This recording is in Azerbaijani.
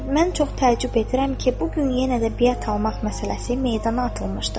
Mən çox təəccüb edirəm ki, bu gün yenə də biət almaq məsələsi meydana atılmışdır.